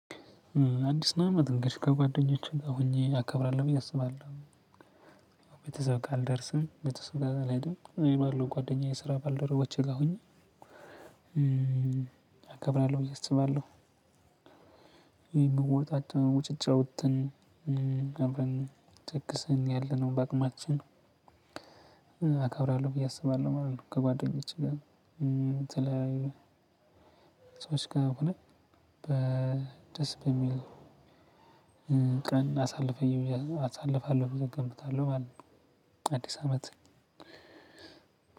አዲሱን አመት እንግዲህ ከጓደኞቼ ጋር ሆኜ አከብራለሁ ብዬ አስባለሁ። ቤተሰብ ጋር አልደርስም ቤተሰብ ጋር አልሄድም እዚሁ ባለው ጓደኛዬ ስራ ባልደረቦቼ ጋር ሁኜ አከብራለሁ ብዬ አስባለሁ። የምናወጣቸውን ወጪ አውጥተን አብረን ደግሰን ያለነው በአቅማችን አካብራለሁ ብዬ አስባለሁ ማለት ነው። ከጓደኞቼ ጋር የተለያዩ ሰዎች ጋር ሆነን በደስ በሚል ቀን አሳልፈኝ አሳልፋለሁ ብዬ እገምታለሁ ማለት ነው። አዲስ አመት